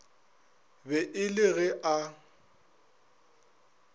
be e le ge a